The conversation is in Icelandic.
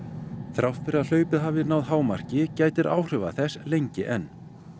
þrátt fyrir að hlaupið hafi náð hámarki gætir áhrifa þess lengi enn